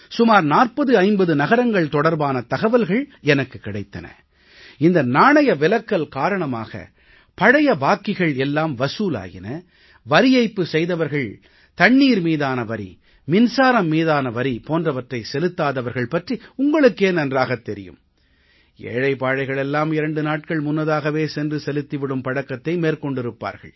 சுமார் 4050 நகரங்கள் தொடர்பான தகவல்கள் எனக்குக் கிடைத்தன இந்த நாணய விலக்கல் காரணமாக பழைய பாக்கிகள் எல்லாம் வசூலாயின வரி ஏய்ப்பு செய்தவர்கள் தண்ணீர் மீதான வரி மின்சாரம் மீதான வரி போன்றவற்றை செலுத்தாதவர்கள் பற்றி உங்களுக்கே நன்றாகத் தெரியும் ஏழை பாழைகள் எல்லாம் 2 நாட்கள் முன்னதாகவே சென்று செலுத்தி விடும் பழக்கத்தை மேற்கொண்டிருப்பார்கள்